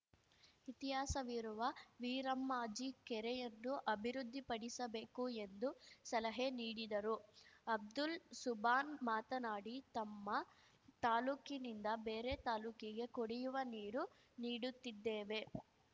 ಇತಿಹಾಸವಿರುವ ವೀರಮ್ಮಾಜಿ ಕೆರೆಯನ್ನು ಅಭಿವೃದ್ಧಿಪಡಿಸಬೇಕು ಎಂದು ಸಲಹೆ ನೀಡಿದರು ಅಬ್ದುಲ್‌ ಸುಬಾನ್‌ ಮಾತನಾಡಿ ತಮ್ಮ ತಾಲೂಕಿನಿಂದ ಬೇರೆ ತಾಲೂಕಿಗೆ ಕುಡಿಯುವ ನೀರು ನೀಡುತ್ತಿದ್ದೇವೆ